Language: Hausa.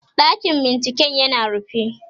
ɗakin binciken yana rufe